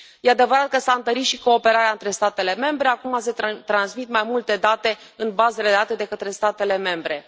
Este adevărat că s a întărit și cooperarea între statele membre acum se transmit mai multe date în bazele de date de către statele membre.